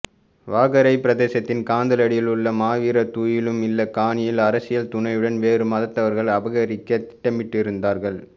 வாகரை பிரதேசத்தின் கண்டலடியிலுள்ள மாவீரர் துயிலும் இல்ல காணியை அரசியல் துணையுடன் வேறு மதத்தவர்கள் அபகரிக்க திட்டமிட்டிருந்தார்கள்